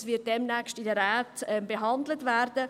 Es wird demnächst in den Räten entschieden werden.